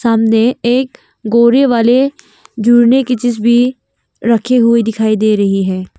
सामने एक गोरे वाले झूलने की चीज भी रखी हुई दिखाई दे रही है।